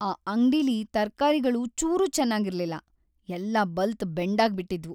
ಆ ಅಂಗ್ಡಿಲಿ ತರ್ಕಾರಿಗಳು ಚೂರೂ ಚೆನಾಗಿರ್ಲಿಲ್ಲ, ಎಲ್ಲ ಬಲ್ತು ಬೆಂಡಾಗ್ಬಿಟಿದ್ವು.